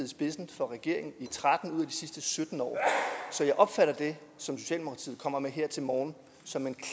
spidsen for regeringen i tretten ud af sidste sytten år så jeg opfatter det som socialdemokratiet kommer med her til morgen som en